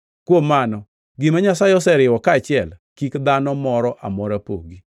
Kuom mano, gima Nyasaye oseriwo kaachiel kik dhano moro amora pogi.”